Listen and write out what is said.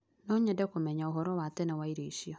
No nyende kũmenya ũhoro wa tene wa irio icio.